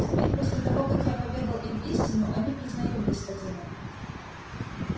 теперь после того как я поведал им истину они признают господина